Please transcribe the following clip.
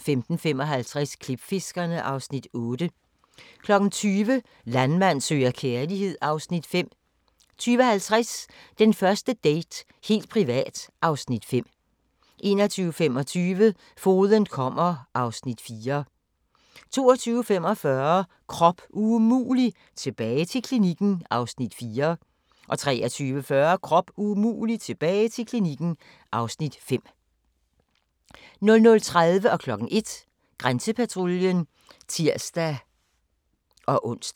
15:55: Klipfiskerne (Afs. 8) 20:00: Landmand søger kærlighed (Afs. 5) 20:50: Den første date - helt privat (Afs. 5) 21:25: Fogeden kommer (Afs. 4) 22:45: Krop umulig – tilbage til klinikken (Afs. 4) 23:40: Krop umulig – tilbage til klinikken (Afs. 5) 00:30: Grænsepatruljen (tir-ons) 01:00: Grænsepatruljen (tir-ons)